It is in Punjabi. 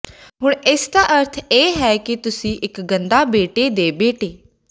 ਹੁਣ ਇਸ ਦਾ ਅਰਥ ਇਹ ਹੈ ਕਿ ਤੁਸੀਂ ਇੱਕ ਗੰਦਾ ਬੇਟੇ ਦੇ ਬੇਟੇ